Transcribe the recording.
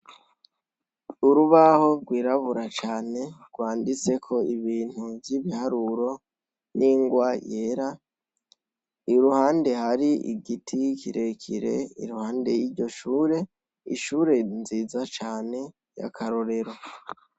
Urubaho rwirabura cane rwanditseko ibintu vy'ibiharuro n'ingwa yera. Iruhande hari igiti kirekire iruhande y'iryo shure, ishure nziza cane y'akarorero.